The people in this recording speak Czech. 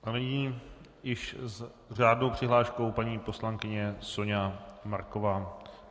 A nyní již s řádnou přihláškou paní poslankyně Soňa Marková.